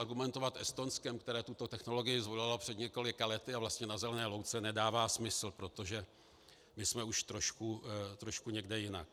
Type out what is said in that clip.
Argumentovat Estonskem, které tuto technologii zvolilo před několika lety a vlastně na zelené louce, nedává smysl, protože my jsme už trošku někde jinde.